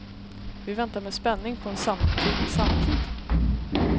Vi väntar med spänning på en samtid i samtid.